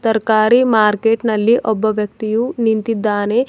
ತರಕಾರಿ ಮಾರ್ಕೆಟ್ ನಲ್ಲಿ ಒಬ್ಬ ವ್ಯಕ್ತಿಯು ನಿಂತಿದ್ದಾನೆ.